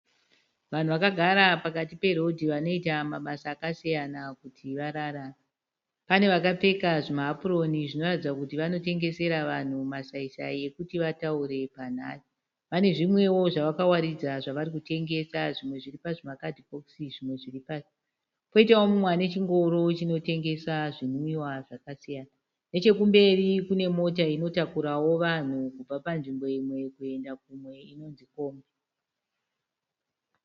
Vanhu vakagara pakati pe road vanoita mabasa akasiyana kuti vararame. Pane vakapfeka zvima hapuroni zvinoratidza kuti vanotengesera vanhu masai -sai ekuti vataure panhare. Vane zvimwewo zvavakawaridza zvavarikutengesa, zvimwe zviri pazvima kadhibhokisi zvimwe zviri pasi. Koitawo mumwe ane chingoro chinotengesa zvinwiwa zvakasiyana. Nechekumberi kune mota inotakurawo vanhu kubva panzvimbo imwe kuenda kune imwewo.